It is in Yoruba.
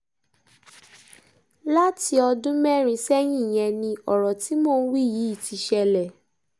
láti ọdún mẹ́rin sẹ́yìn yẹn ni ọ̀rọ̀ tí mò ń wí yìí ti ṣẹlẹ̀